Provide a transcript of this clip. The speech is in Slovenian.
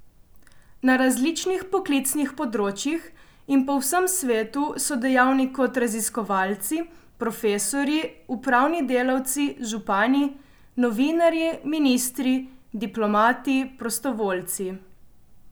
Na različnih poklicnih področjih in po vsem svetu so dejavni kot raziskovalci, profesorji, upravni delavci, župani, novinarji, ministri, diplomati, prostovoljci ...